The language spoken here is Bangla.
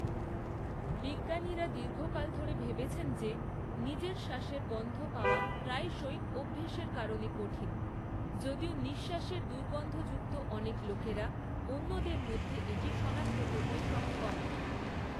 বিজ্ঞানীরা দীর্ঘকাল ধরে ভেবেছেন যে, নিজের শ্বাসের গন্ধ পাওয়া প্রায়শই অভ্যাসের কারণে কঠিন, যদিও নিঃশ্বাসের দুর্গন্ধযুক্ত অনেক লোকেরা অন্যদের মধ্যে এটি সনাক্ত করতে সক্ষম।